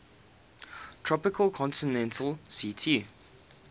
tropical continental ct